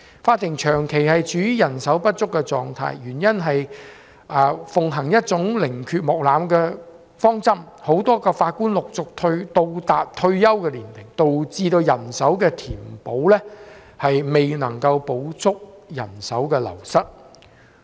法庭長期處於人手不足的狀態，原因是奉行寧缺毋濫的方針，很多法官陸續到達退休年齡，導致人手的填補未能補足人手的流失。